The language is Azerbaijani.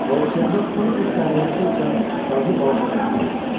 Və okeanda 10 fut dərinlikdə üzən dadlı balıqları tuta bilər.